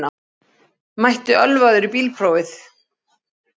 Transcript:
Mætti ölvaður í bílprófið